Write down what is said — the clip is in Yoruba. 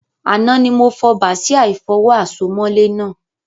Àná ni mo fo bàsíà ìfọwọ́ àsomọ́lé náà